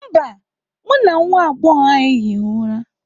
Mba, mụ na nwa agbọghọ ahụ ehighị ụra